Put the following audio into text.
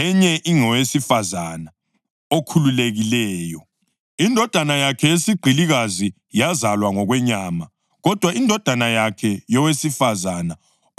Indodana yakhe yesigqilikazi yazalwa ngokwenyama; kodwa indodana yakhe yowesifazane okhululekileyo yazalwa kulandela isithembiso.